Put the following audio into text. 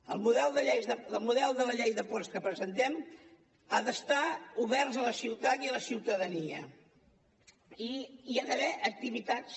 el model de la llei de ports que presentem ha d’estar obert a la ciutat i a la ciutadania i hi ha d’haver activitats